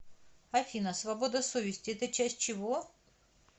афина свобода совести это часть чего